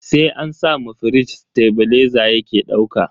Sai an sa ma firij tebileza yake dauka.